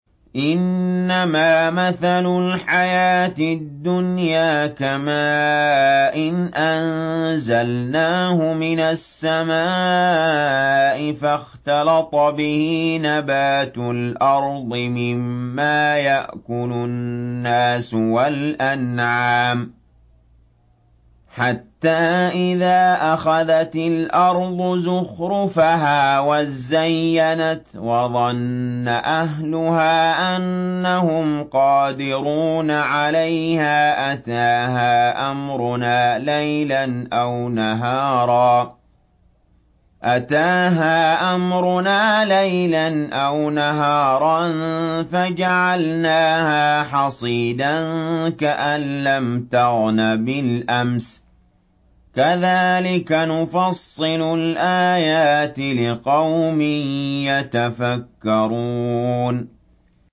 إِنَّمَا مَثَلُ الْحَيَاةِ الدُّنْيَا كَمَاءٍ أَنزَلْنَاهُ مِنَ السَّمَاءِ فَاخْتَلَطَ بِهِ نَبَاتُ الْأَرْضِ مِمَّا يَأْكُلُ النَّاسُ وَالْأَنْعَامُ حَتَّىٰ إِذَا أَخَذَتِ الْأَرْضُ زُخْرُفَهَا وَازَّيَّنَتْ وَظَنَّ أَهْلُهَا أَنَّهُمْ قَادِرُونَ عَلَيْهَا أَتَاهَا أَمْرُنَا لَيْلًا أَوْ نَهَارًا فَجَعَلْنَاهَا حَصِيدًا كَأَن لَّمْ تَغْنَ بِالْأَمْسِ ۚ كَذَٰلِكَ نُفَصِّلُ الْآيَاتِ لِقَوْمٍ يَتَفَكَّرُونَ